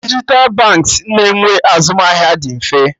Dijital banks na-enwe azụmahịa dị mfe